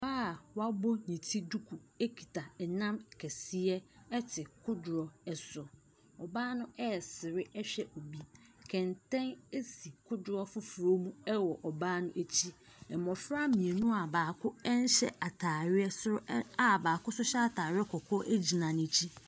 Ɔbaa a wabɔ ne ti duku kita nam kɛseɛ te kodoɔ so, ɔbaa no aresere hwɛ obi, kɛntɛn si kodoɔ foforɔ mu wɔ ɔbaa no akyi. Mmɔfra mmienu a baako nhyɛ ataadeɛ nso ɛ a baako nso hyɛ ataare kɔkɔɔ agyina n’akyi.